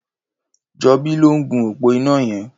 Jobi ló n gún ópó iná yẹn